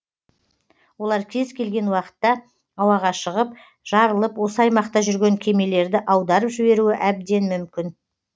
олар кез келген уақытта ауаға шығып жарылып осы аймақта жүрген кемелерді аударып жіберуі әбден мүмкін